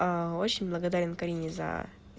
очень благодарен карине за